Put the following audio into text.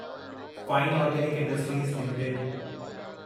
fine organic industries limited